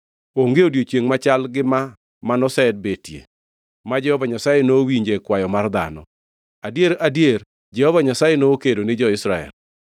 Onge odiechiengʼ machal gi ma manosebetie ma Jehova Nyasaye nowinje kwayo mar dhano. Adier, adier Jehova Nyasaye ne kedo ni jo-Israel!